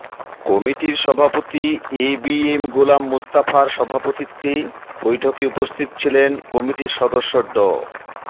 কমিটির সভাপতি A B M Golam Mostafa সভাপতিত্বে বৈঠকে উপস্থিত ছিলেন কমিটির সদস্য ড